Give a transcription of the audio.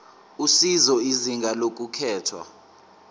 usizo izinga lokulethwa